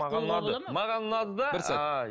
маған ұнады маған ұнады да